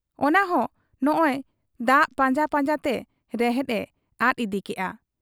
ᱚᱱᱟᱦᱚᱸ ᱱᱚᱜᱻᱚᱭ ᱫᱟ ᱯᱟᱸᱡᱟ ᱯᱟᱸᱡᱟᱛᱮ ᱨᱮᱦᱮᱫ ᱮ ᱟᱫ ᱤᱫᱤᱠᱮᱜ ᱟ ᱾